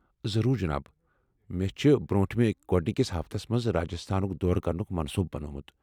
ضروٗر جناب ۔ مےٚ چُھ برونٹھہٕ میی گوڈنِكِس ہفتس منز راجستھانُك دورٕ كرنُك منصوٗبہٕ بنومُت ۔